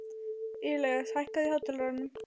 Ilías, hækkaðu í hátalaranum.